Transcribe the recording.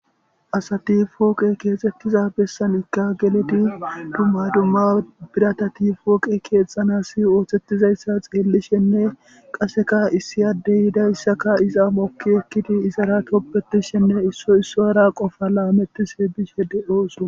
asati fooqe keexettiza bessanikka geledi dumma dumma biratati fooqe keexxanasi ooththettizayssa xeellishenne qaseka issi addey yiidayssaka iza mokki ekkidi izara toppetishenne issoy issuwaraa qofa laametishe bishe de7ooso.